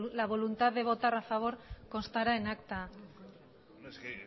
la voluntad de votar a favor constará en acta en